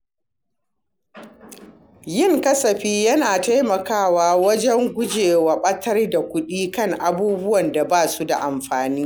Yin kasafi yana taimakawa wajen gujewa ɓatar da kuɗi kan abubuwan da ba su da amfani.